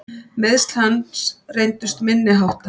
Meiðsl hans reyndust minni háttar.